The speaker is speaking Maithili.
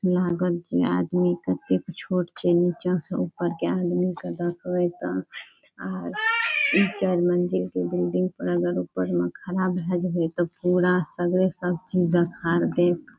यहाँ आदमी कहते की छोट छे निचा से ऊपर के आदमी के गद्दा पर बैठता और ई चार मंजिल के बिल्डिंग पर अगर ऊपर में खड़ा भैल रही त पूरा सवेरे सब चीज देखा देत।